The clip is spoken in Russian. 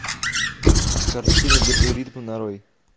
картина держи ритм нарой